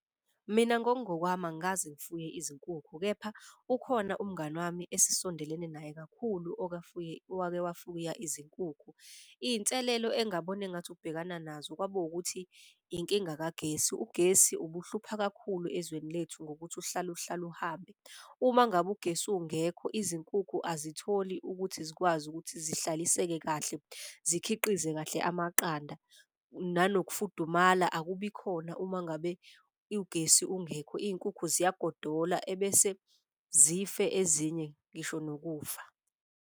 Mina ngokungokwami angikaze ngifuye izinkukhu kepha ukhona umngani wami esisondelene naye kakhulu owake wafuya izinkukhu. Iy'nselelo engabona engathi ukubhekana nazo kwabo ukuthi inkinga kagesi. Ugesi ubuhlupha kakhulu ezweni lethu ngokuthi uhlale uhlale uhambe. Uma ngabe ugesi ungekho, izinkukhu azitholi ukuthi zikwazi ukuthi zihlaliseke kahle zikhiqize kahle amaqanda. Nanokufudumala akubi ikhona uma ngabe ugesi ungekho iy'nkukhu ziyagodola, ebese zife ezinye ngisho nokufa.